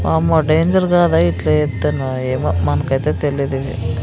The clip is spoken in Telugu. వామ్మో డేంజర్ గా లైట్లు ఏతన్నారు ఏమో మనకైతే తెలీదివి.